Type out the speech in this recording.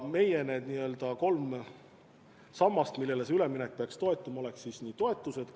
Meie sambad, millele see üleminek peaks toetuma, oleks toetused.